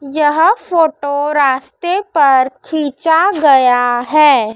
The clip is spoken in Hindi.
यह फोटो रास्ते पर खींचा गया है।